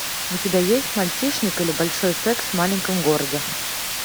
у тебя есть мальчишник или большой секс в маленьком городе